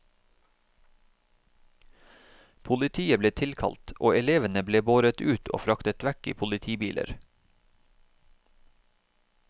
Politiet ble tilkalt, og elevene ble båret ut og fraktet vekk i politibiler.